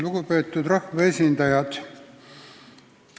Lugupeetud rahvaesindajad!